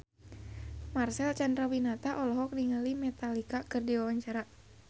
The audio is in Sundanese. Marcel Chandrawinata olohok ningali Metallica keur diwawancara